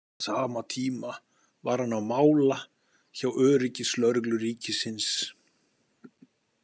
Á sama tíma var hann á mála hjá öryggislögreglu ríkisins.